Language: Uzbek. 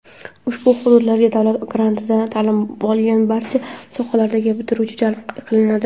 ushbu hududlarga davlat grantida ta’lim olgan barcha sohalardagi bitiruvchilar jalb qilinadi.